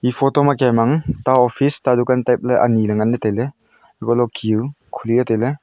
e photo ma kem ang ta office ta dukan taple anyi le ngan le taile hako le hukhi jao khuli le taile.